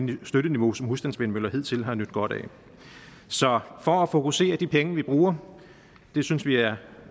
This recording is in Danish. støtteniveau som husstandsvindmøller hidtil har nydt godt af så for at fokusere de penge vi bruger det synes vi er